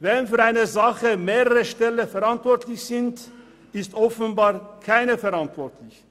Wenn für eine Sache mehrere Stellen verantwortlich sind, ist offenbar keiner verantwortlich.